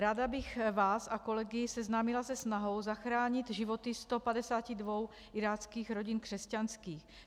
Ráda bych vás a kolegy seznámila se snahou zachránit životy 152 iráckých rodin křesťanských.